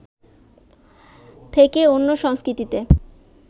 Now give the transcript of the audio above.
থেকে অন্য সংস্কৃতিতে